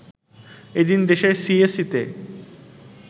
এদিন দেশের সিএসইতে